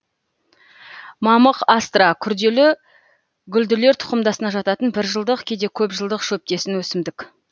мамық астра күрделі гүлділер тұқымдасына жататын бір жылдық кейде көп жылдық шөптесін өсімдік